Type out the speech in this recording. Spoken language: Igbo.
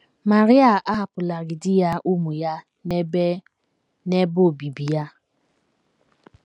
Maria ahapụlarị di ya, ụmụ ya, na ebe, na ebe obibi ya.